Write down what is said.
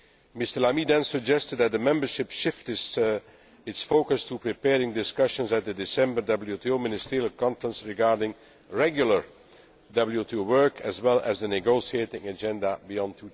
Mr Lamy then suggested that the membership shift its focus to preparing discussions at the December WTO Ministerial Conference regarding regular WTO work, as well as the negotiating agenda beyond